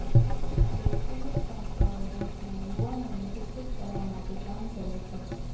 શૈક્ષણિક સંસ્થાઓ દેશના યુવાનોને શિક્ષિત કરવા માટે કામ કરે છે